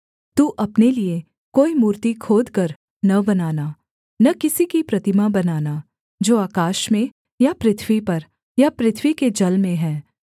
तू अपने लिये कोई मूर्ति खोदकर न बनाना न किसी कि प्रतिमा बनाना जो आकाश में या पृथ्वी पर या पृथ्वी के जल में है